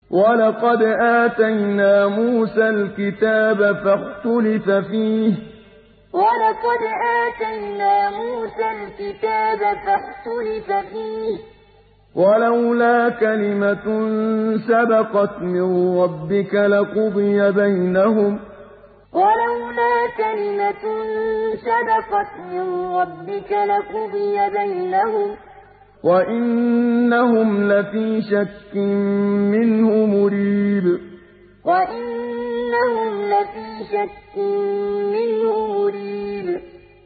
وَلَقَدْ آتَيْنَا مُوسَى الْكِتَابَ فَاخْتُلِفَ فِيهِ ۗ وَلَوْلَا كَلِمَةٌ سَبَقَتْ مِن رَّبِّكَ لَقُضِيَ بَيْنَهُمْ ۚ وَإِنَّهُمْ لَفِي شَكٍّ مِّنْهُ مُرِيبٍ وَلَقَدْ آتَيْنَا مُوسَى الْكِتَابَ فَاخْتُلِفَ فِيهِ ۗ وَلَوْلَا كَلِمَةٌ سَبَقَتْ مِن رَّبِّكَ لَقُضِيَ بَيْنَهُمْ ۚ وَإِنَّهُمْ لَفِي شَكٍّ مِّنْهُ مُرِيبٍ